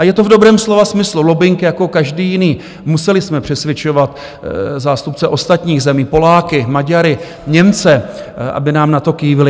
A je to v dobrém slova smyslu lobbing jako každý jiný, museli jsme přesvědčovat zástupce ostatních zemí, Poláky, Maďary, Němce, aby nám na to kývli.